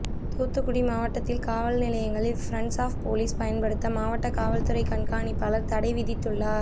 தூத்துக்குடி மாவட்டத்தில் காவல் நிலையங்களில் பிரண்ட்ஸ் ஆப் போலீஸ் பயன்படுத்த மாவட்ட காவல்துறை கண்காணிப்பாளர் தடை விதித்துள்ளார்